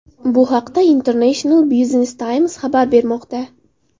Bu haqda International Business Times xabar bermoqda .